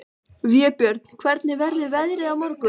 Vébjörn, hvernig verður veðrið á morgun?